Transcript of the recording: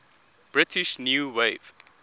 british new wave